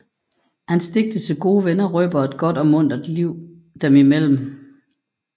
Hans digte til gode venner røber et godt og muntert liv dem imellem